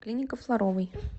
клиника флоровой